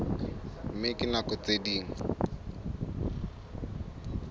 mme ka nako tse ding